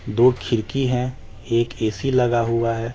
दो खिड़की हैं एक ए सी लगा हुआ है।